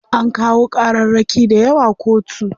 An kawo ƙararraki dayawa kotu.